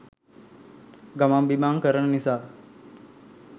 ගමන් බිමන් කරන නිසා.